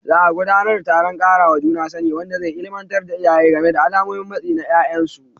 Za a gudanar da taron ƙarawa juna sani, wanda zai illimantar da iyaye game da alamomin matsi na ƴaƴansu.